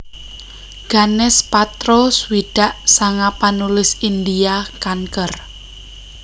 Ganesh Patro swidak sanga panulis India kanker